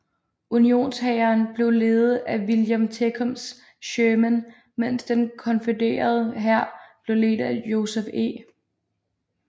Unionshæren blev ledet af William Tecumseh Sherman mens den konfødererede hær blev ledet af Joseph E